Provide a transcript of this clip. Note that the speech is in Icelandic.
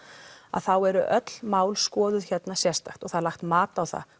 þá eru öll mál skoðuð hérna sérstakt og það er lagt mat á það